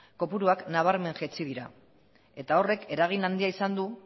kopuruak nabarmen jaitsi dira eta horrek eragin handia izan du